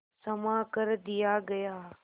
क्षमा कर दिया गया